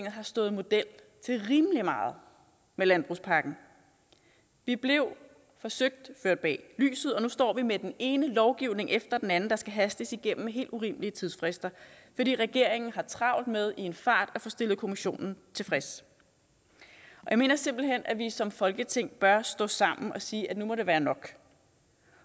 har stået model til rimelig meget med landbrugspakken vi blev forsøgt ført bag lyset og nu står vi med den ene lovgivning efter den anden der skal hastes igennem helt urimelige tidsfrister fordi regeringen har travlt med i en fart at få stillet kommissionen tilfreds jeg mener simpelt hen at vi som folketing bør stå sammen og sige at nu må det være nok